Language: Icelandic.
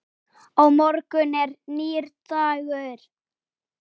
Á morgun er nýr dagur.